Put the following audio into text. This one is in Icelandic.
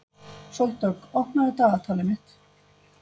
Sóldögg, opnaðu dagatalið mitt.